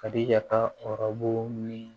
Ka di ya ka ɔrɔbu